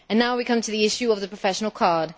Now we come to the issue of the professional card.